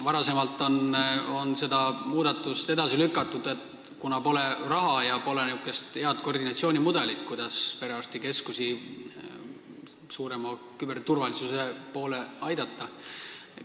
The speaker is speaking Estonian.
Varem on seda muudatust edasi lükatud, kuna pole olnud raha ja pole olnud head koordinatsioonimudelit, kuidas aidata perearstikeskustel suurem küberturvalisus saavutada.